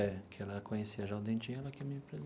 É, que ela conhecia já o Dentinho, ela que me.